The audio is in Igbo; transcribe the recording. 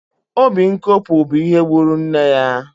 Obi nkopu bụ ihe gburu nne ya